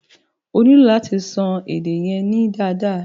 O nílò láti ṣan edé yẹn nù dáadaa.